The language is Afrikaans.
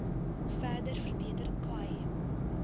verder verbeter khai